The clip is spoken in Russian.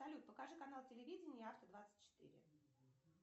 салют покажи канал телевидения авто двадцать четыре